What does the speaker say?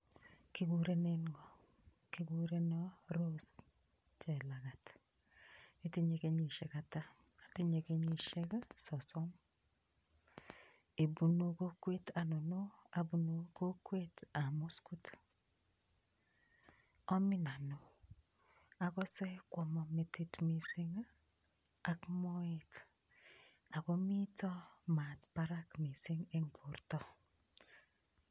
Kikurenen ng'o kikureno Rose chelagat itinye kenyishek ata atinye kenyishek sosom ibunu kokwet anono abunu kokwetab muskut omin ano akose kwomo metit mising' ak moet akomito maat barak mising' eng' borto